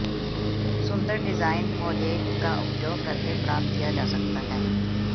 सुंदर design mosaic का उपयोग करके प्राप्त किया जा सकता है